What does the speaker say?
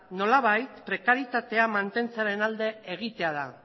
nolabait prekarietatea mantentzearen alde egitea da